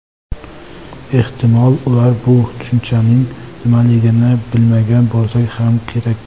Ehtimol, ular bu tushunchaning nimaligini bilmagan bo‘lsa ham kerak.